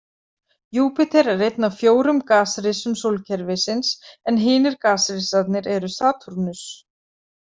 Júpíter er einn af fjórum gasrisum sólkerfisins en hinir gasrisarnir eru Satúrnus.